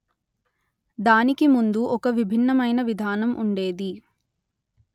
దానికి ముందు ఒక విభిన్నమైన విధానం ఉండేది